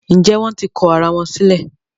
Njé wón tí kò àrà wón sílè?